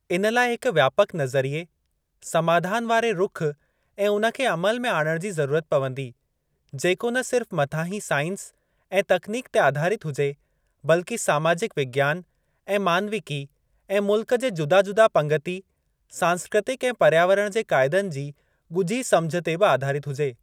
इन लाइ हिक व्यापक नज़रिये, समाधान वारे रुख़ ऐं उन खे अमल में आणण जी ज़रूरत पवंदी, जेको न सिर्फ मथाहीं साइंस ऐं तकनीक ते आधारित हुजे, बल्कि समाजिक विज्ञान ऐं मानविकी ऐं मुल्क जे जुदा जुदा पंगिती, सांस्कृतिक ऐं पर्यावरण जे काइदनि जी ॻुझी समुझ ते बि आधारित हुजे।